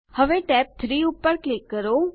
હવે tab 3 પર click કરો